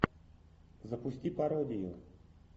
запусти пародию